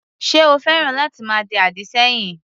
Ṣé o féràn láti máa di àdì sẹ́yìn?